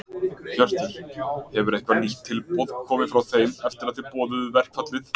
Hjörtur: Hefur eitthvað nýtt tilboð komið frá þeim eftir að þið boðuðu verkfallið?